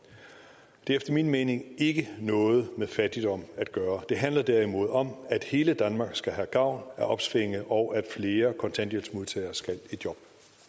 det har efter min mening ikke noget med fattigdom at gøre det handler derimod om at hele danmark skal have gavn af opsvinget og at flere kontanthjælpsmodtagere skal i job